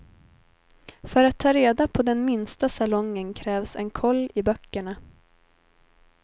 För att ta reda på den minsta salongen krävs en koll i böckerna.